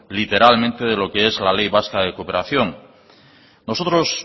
literalmente de lo que es la ley vasca de cooperación nosotros